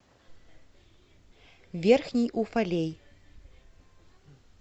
верхний уфалей